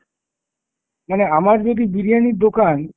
মানে আমার যদি বিরিয়ানির দোকান,